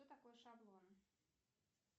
что такое шаблон